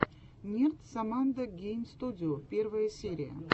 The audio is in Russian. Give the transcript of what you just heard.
нерд соммандо гейм студио первая серия